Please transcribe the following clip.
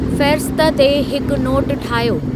फ़हिरिस्त ते हिकु नोटु ठाहियो